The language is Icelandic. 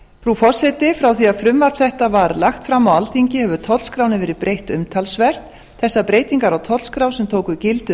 frú forseti frá því að frumvarp þetta var lagt fram á alþingi hefur tollskránni verið breytt umtalsvert þessar breytingar á tollskrá sem tóku gildi